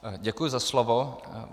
Děkuji za slovo.